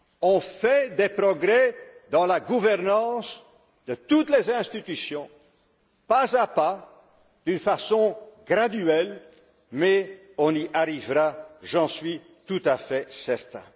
On fait des progrès dans la gouvernance de toutes les institutions, pas à pas, d'une façon graduelle, mais on y arrivera, j'en suis tout à fait certain.